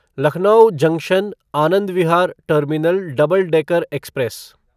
Lucknow junction Anand Vihar terminal double decker express